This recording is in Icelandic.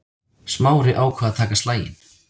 Smári ákvað að taka slaginn.